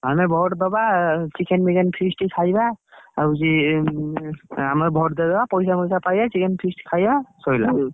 ଆମେ vote ଦବା chicken ଫିକେନ feast ଖାଇବା। ଆଉ ହଉଛି ଆମର vote ଦେଇଦବା ପଇସା ଫଇସା chicken feast ଖାଇବା ।